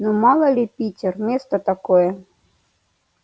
ну мало ли питер место такое